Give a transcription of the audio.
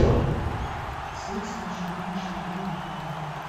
секс и ничего лишнего выведи мне